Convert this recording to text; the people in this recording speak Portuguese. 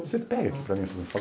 Você pega aqui para mim, por favor?